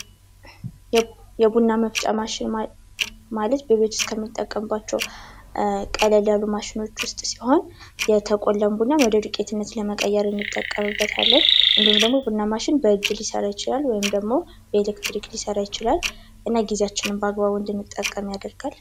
የቡና መፍጫ ማሽን ማለት በቤት ዉስጥ ከምንጠቀምባቸው ቀለል ያሉ ማሽኖች ዉስጥ ሲሆን የተቆላ ቡናን ወደ ዱቄት ለመቀየር እንጠቀምበታለን። እንዲሁም ደግሞ ቡና ማሽን በእጅ ሊሰራ ይችላል በኤሌክትሪክ ሊሰራ ይችላል። እና ጊዛችንን በአግባቡ እንድንጠቀም ያደርጋል።